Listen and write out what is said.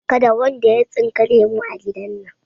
Kada wanda ya tsinka lemu a gidan nan!